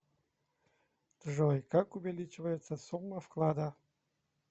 джой как увеличивается сумма вклада